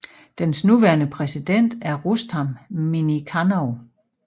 Dens nuværende præsident er Rustam Minnikhanov